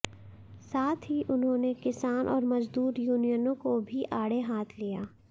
साथ ही उन्होंने किसान और मजदूर यूनियनों को भी आड़े हाथ लिया